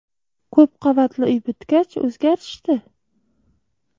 Ko‘p qavatli uy bitgach, o‘zgarishdi.